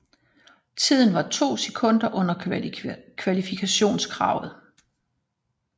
Tiden var to sekund under kvalifikationskravet